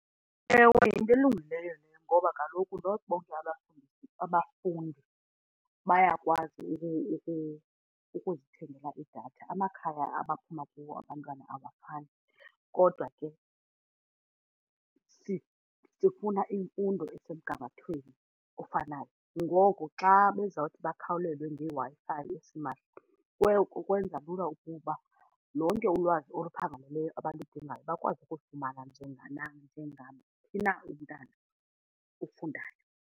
Ewe, yinto elungileyo leyo ngoba kaloku not bonke abafundi abafundi bayakwazi ukuzithengela idatha amakhaya abaphuma kuwo abantwana abafani kodwa ke sifuna imfundo esemgangathweni ofanayo. ngoku xa bezawuthi bakhawulelwe ngeWi-Fi esimahla kwenza lula ukuba lonke ulwazi oluphangaleleyo abaludingayo bakwazi ukulifumana njenganaphi na umntwana ufundayo.